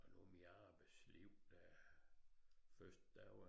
Og nu mit arbejdsliv først der var